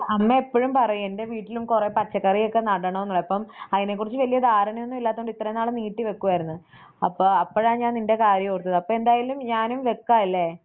അമ്മ എപ്പഴും പറയും എൻറെ വീട്ടിലും കൊറേ പച്ചക്കറിയൊക്കെ നടാണോന്ന് അപ്പം അതിനെക്കുറിച്ച് വലിയ ധാരണയൊന്നും ഇല്ലാത്തതുകൊണ്ട് ഇത്രയും നാളും നീട്ടിവെക്കുകയായിരുന്നു അപ്പം അപ്പഴാ ഞാൻ നിൻറെ കാര്യം ഓർത്തത് അപ്പം എന്തായാലും ഞാനും വെക്കാലേ?